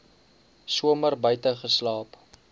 somer buite geslaap